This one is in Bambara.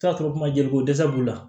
Taa sɔrɔ kuma joli ko dɛsɛ b'u la